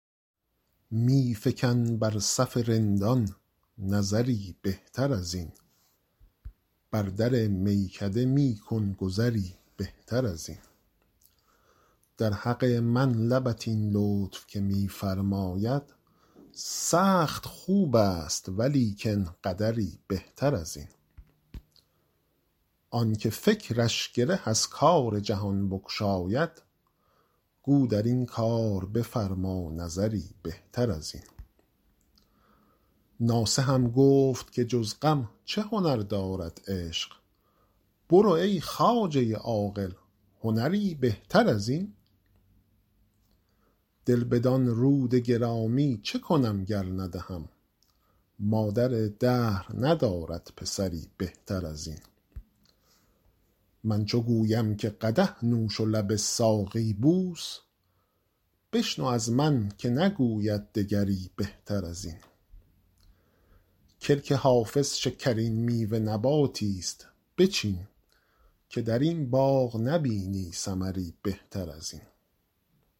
می فکن بر صف رندان نظری بهتر از این بر در میکده می کن گذری بهتر از این در حق من لبت این لطف که می فرماید سخت خوب است ولیکن قدری بهتر از این آن که فکرش گره از کار جهان بگشاید گو در این کار بفرما نظری بهتر از این ناصحم گفت که جز غم چه هنر دارد عشق برو ای خواجه عاقل هنری بهتر از این دل بدان رود گرامی چه کنم گر ندهم مادر دهر ندارد پسری بهتر از این من چو گویم که قدح نوش و لب ساقی بوس بشنو از من که نگوید دگری بهتر از این کلک حافظ شکرین میوه نباتی ست بچین که در این باغ نبینی ثمری بهتر از این